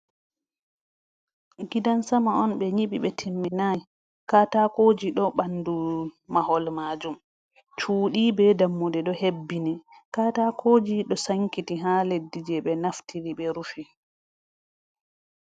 Gidansama on be nyibi be timminai katakoji do bandu mahol majum. cuuɗi be dammuɗe ɗo hebbini katakoji ɗo sankiti ha leddi je be naftiri be rufi.